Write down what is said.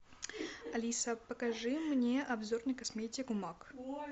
алиса покажи мне обзор на косметику мак